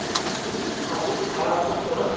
Vinningshafi gaf sig fram